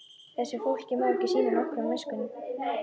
Þessu fólki má ekki sýna nokkra minnstu miskunn!